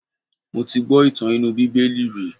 Mo ti gbọ́ ìtàn inú bíbélì rí.